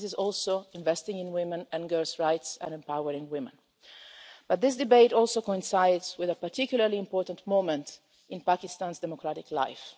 This is also investing in women and girls' rights and empowering women. But this debate also coincides with a particularly important moment in Pakistan's democratic life.